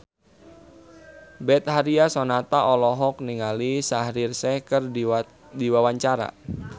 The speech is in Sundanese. Betharia Sonata olohok ningali Shaheer Sheikh keur diwawancara